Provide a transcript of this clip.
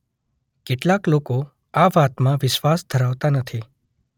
કેટલાક લોકો આ વાતમાં વિશ્વાસ ધરાવતા નથી.